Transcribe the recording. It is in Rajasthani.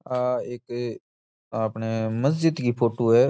आ एक आपने मस्जिद की फोटू है।